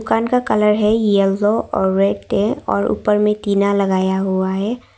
दुकान का कलर है यलो और रेड और ऊपर में टीना लगाया हुआ है।